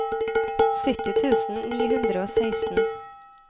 sytti tusen ni hundre og seksten